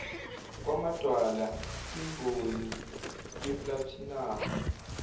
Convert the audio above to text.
kwamadwala kwimboni yeplathinamu